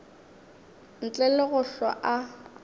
ntle le go hlwa a